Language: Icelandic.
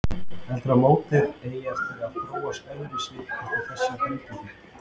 Heldurðu að mótið eigi eftir að þróast öðruvísi eftir þessa breytingu?